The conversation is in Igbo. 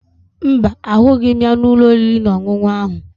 Mba, ahụghị m ya n'ụlọ oriri na ọṅụṅụ ahụ